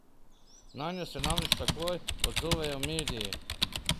Nanjo se namreč takoj odzovejo mediji.